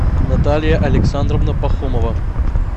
наталья александровна пахомова